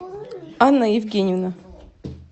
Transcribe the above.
анна евгеньевна